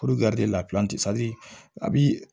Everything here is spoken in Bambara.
a bi